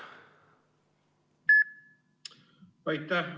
Aitäh!